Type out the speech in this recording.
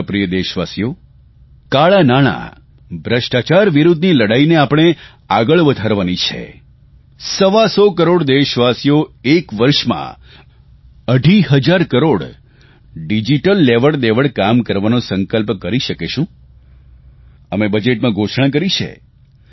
મારા પ્રિય દેશવાસીઓ કાળાં નાણાં ભ્રષ્ટાચાર વિરૂદ્ધની લડાઇને આપણે આગળ વધારવાની છે સવા સો કરોડ દેશવાસીઓ એક વર્ષમાં અઢી હજાર કરોડ ડિજીટલ લેવડદેવડ કામ કરવાનો સંકલ્પ કરી શકે શું અમે બજેટમાં ઘોષણા કરી છે